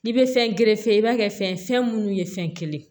I bɛ fɛn i b'a kɛ fɛn munnu ye fɛn kelen ye